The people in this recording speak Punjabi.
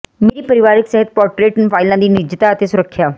ਮੇਰੀ ਪਰਿਵਾਰਕ ਸਿਹਤ ਪੋਰਟਰੇਟ ਫਾਈਲਾਂ ਦੀ ਨਿੱਜਤਾ ਅਤੇ ਸੁਰੱਖਿਆ